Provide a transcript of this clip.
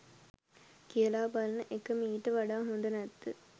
කියලා බලන එක මීට වඩා හොද නැද්ද